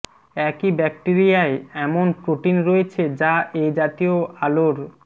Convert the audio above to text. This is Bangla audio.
একই ব্যাকটিরিয়ায় এমন প্রোটিন রয়েছে যা এ জাতীয় আলোর